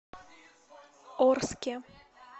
орске